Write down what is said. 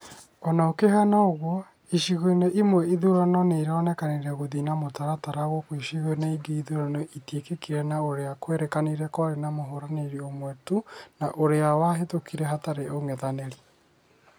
Ona gũkĩhana ũguo, icigo-inĩ imwe ithurano nĩironekanire gũithie na mũtaratara gũkũ icigo-inĩ ingĩ ithurano itiekĩkĩre na ũria kwerĩkanire kwarĩ na mũhũranĩri ũmwe tu na ũrĩa wahĩtukire hatarĩ ũng'ethanĩri